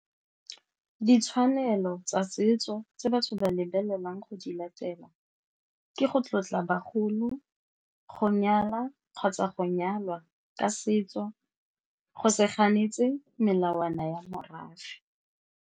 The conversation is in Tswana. Ditshwanelo tsa setso tse batho ba lebelelang go di latela ke go tlotla bagolo, go nyala kgotsa go nyalwa ka setso, go se ganetse melawana ya morafe.